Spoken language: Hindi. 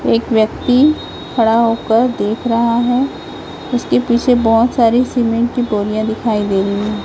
एक व्यक्ति खड़ा होकर देख रहा है उसके पीछे बहोत सारी सीमेंट की बोरीयां दिखाई दे रही है।